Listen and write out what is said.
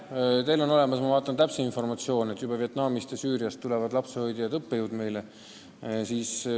Ma kuulen, et teil on olemas täpsem informatsioon kui mul: ka Vietnamist ja Süüriast tulevad meile lapsehoidjad ja õppejõud.